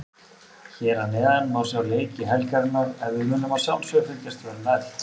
Hér að neðan má sjá leiki helgarinnar en við munum að sjálfsögðu fylgjast vel með.